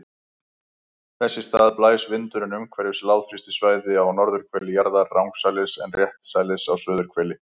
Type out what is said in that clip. Þess í stað blæs vindurinn umhverfis lágþrýstisvæði á norðurhveli jarðar rangsælis en réttsælis á suðurhveli.